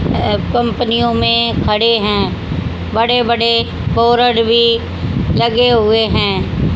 अं कंपनियों में खड़े हैं बड़े बड़े बोरड भी लगे हुए हैं।